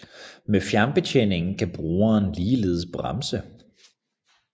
Med fjernbetjening kan brugeren ligeledes bremse